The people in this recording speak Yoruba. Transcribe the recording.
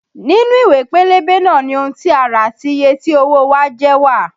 Nínú ìwé pélébé náà ni ohun tí a rà àti iye tí owó o wa jẹ́ wà